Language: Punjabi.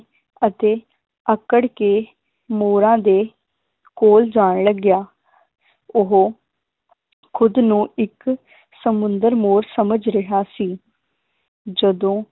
ਅਤੇ ਆਕੜ ਕੇ ਮੋਰਾਂ ਦੇ ਕੋਲ ਜਾਣ ਲੱਗਿਆ ਉਹ ਖੁਦ ਨੂੰ ਇਕ ਸਮੁੰਦਰ ਮੋਰ ਸਮਝ ਰਿਹਾ ਸੀ ਜਦੋਂ